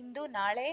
ಇಂದು ನಾಳೆ